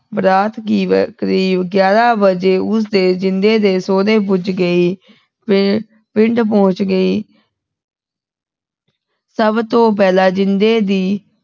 ਬਰਾਤ ਕਿਬ ਕਰੀਬ ਗਿਆਰਾਂ ਵਜੇ ਉਸਦੇ ਜਿੰਦੇ ਦੇ ਸੁਹਰੇ ਪੁੱਜ ਗਈ ਪਿੰਡ ਪਹੁੰਚ ਗਈ ਸਭ ਤੋਂ ਪਹਿਲਾ ਜਿੰਦੇ ਦੀ